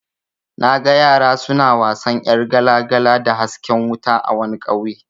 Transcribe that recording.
Naga yara suna wasan yar gala-gala da hasken wata a wani ƙauye.